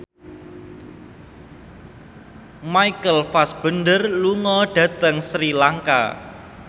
Michael Fassbender lunga dhateng Sri Lanka